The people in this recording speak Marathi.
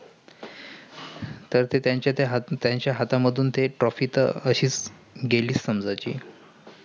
तर ते त्याचं हात त्याचं हातामधून ते trophy तर अशीच गेली समजायची.